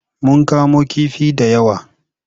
Mun kamo kifi da yawa.